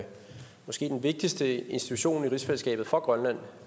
måske den vigtigste institution i rigsfællesskabet for grønland